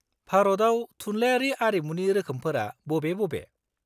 -भारतआव थुनलायारि आरिमुनि रोखोमफोरा बबे बबे?